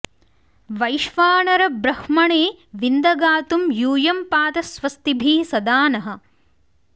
वैश्वा॑नर॒ ब्रह्म॑णे विन्द गा॒तुं यू॒यं पा॑त स्व॒स्तिभिः॒ सदा॑ नः